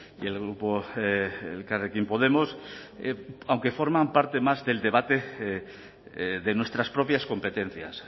y el grupo elkarrekin podemos aunque forman parte más del debate de nuestras propias competencias